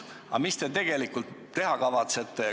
Aga mida te tegelikult teha kavatsete?